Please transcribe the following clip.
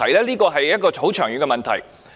這是一個很長遠的問題。